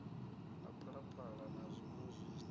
na phalaphala na zwiṋwe zwinzhi